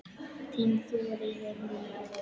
Þín Þuríður Rún.